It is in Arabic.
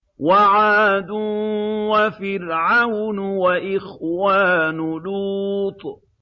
وَعَادٌ وَفِرْعَوْنُ وَإِخْوَانُ لُوطٍ